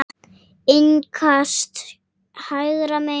Innkast hægra megin.